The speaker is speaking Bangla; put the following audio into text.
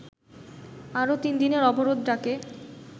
আরো তিন দিনের অবরোধ ডাকে